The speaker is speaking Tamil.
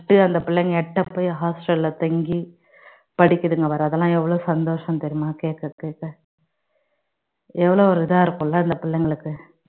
விட்டு அந்த பிள்ளைங்க எட்ட போய் hostel ல்ல தங்கி படிக்குதுங்க வேற அதெல்லாம் எவ்ளோ சந்தோசம் தெரியுமா கேக்குறதுக்கு எவ்வளவு ஒரு இதா இருக்கும் இல்ல அந்த பிள்ளைங்களுக்கு